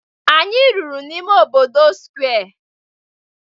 Anyị rụrụ n'ime obodo Square